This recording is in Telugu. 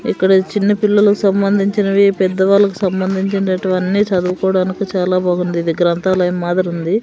ఇక్కడ చిన్న పిల్లలు సంబంధించినవి పెద్ద వాళ్లకు సంభందించినటువన్నీ చదువుకోవడానికి చాలా బాగుంది ఇది గ్రంధాలయం మాదిరి ఉంది.